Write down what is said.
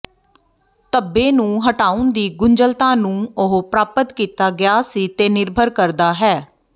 ਧੱਬੇ ਨੂੰ ਹਟਾਉਣ ਦੀ ਗੁੰਝਲਤਾ ਨੂੰ ਉਹ ਪ੍ਰਾਪਤ ਕੀਤਾ ਗਿਆ ਸੀ ਤੇ ਨਿਰਭਰ ਕਰਦਾ ਹੈ